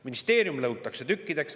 Ministeerium lõhutakse tükkideks.